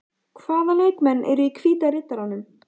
Hvaða leikmenn eru í Hvíta Riddaranum?